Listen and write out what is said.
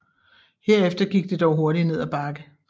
Herefter gik det dog hurtigt ned ad bakke